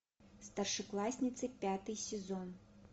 старшеклассницы пятый сезон